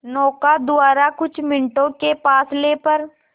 नौका द्वारा कुछ मिनटों के फासले पर